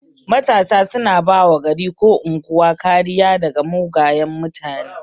Matasa suna bawa gari ko unguwa kariya daga mugayan mutane